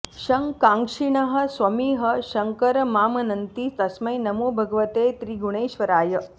शं काङ्क्षिणः स्वमिह शङ्करमामनन्ति तस्मै नमो भगवते त्रिगुणेश्वराय